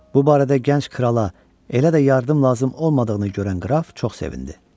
Bu barədə gənc krala elə də yardım lazım olmadığını görən qraf çox sevindi.